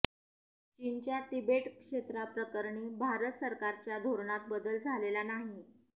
चीनच्या तिबेट क्षेत्राप्रकरणी भारत सरकारच्या धोरणात बदल झालेला नाही